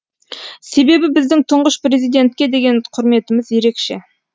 себебі біздің тұңғыш президентке деген құрметіміз ерекше